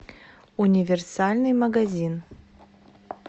универсальный магазин